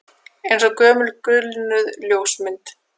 Eins og gömul gulnuð ljósmynd